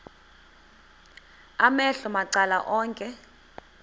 amehlo macala onke